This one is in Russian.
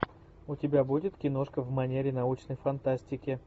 у тебя будет киношка в манере научной фантастики